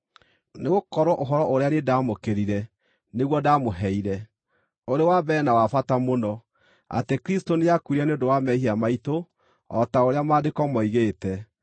Nĩgũkorwo ũhoro ũrĩa niĩ ndaamũkĩrire nĩguo ndaamũheire, ũrĩ wa mbere na wa bata mũno: atĩ Kristũ nĩakuire nĩ ũndũ wa mehia maitũ o ta ũrĩa Maandĩko moigĩte,